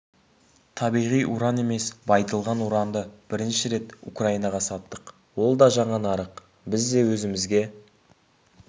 табиғи уран емес байытылған уранды бірінші рет украинаға саттық ол да жаңа нарық біз де өзімізге